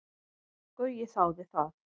Gaui þáði það.